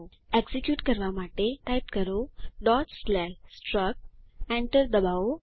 execute કરવા માટે type કરો struct એન્ટર ડબાઓ